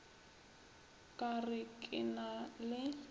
ka re ke na le